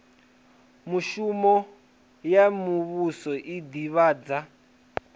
mishumo ya muvhuso i ḓivhadza